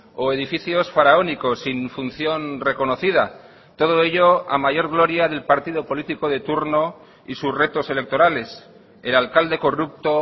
o edificios faraónicos sin función reconocida todo ello a mayor gloria del partido político de turno y sus retos electorales el alcalde corrupto